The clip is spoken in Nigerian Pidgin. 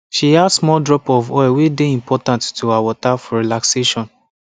she add small drop of oil way dey important to her water for relaxation